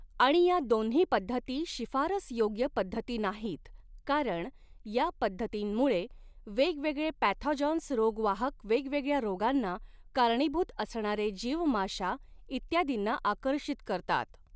आणि या दोन्ही पद्धती शिफारसयोग्य पद्धती नाहीत कारण या पद्धतीमुंळे वेगवेगळे पॅथॉजन्स रोगवाहक वेगवेगळ्या रोगांना कारणीभूत असणारे जीव माशा इत्यादींना आकर्षित करतात.